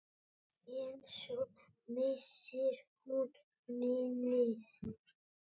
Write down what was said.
En svo missir hún minnið.